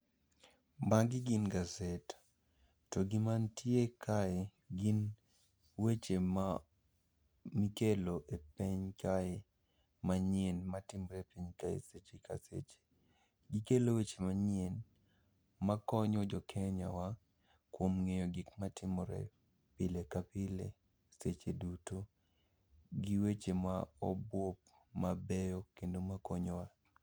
Magi gin gaset, to gima ntie kae gin weche ma ikelo e piny kae manyien ma timre e piny kae seche ka seche. Gikelo weche manyien makonyo jo Kenya wa kuom ng'eyo gikma timore pile ka pile, seche duto. Gi weche ma obup mabeyo kendo ma konyowa.